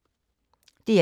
DR1